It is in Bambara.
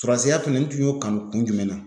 Sɔrɔsiya fɛnɛ n tun y'o kanu kun jumɛn na ?